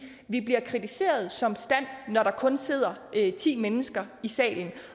vi bliver kritiseret som stand når der kun sidder ti mennesker i salen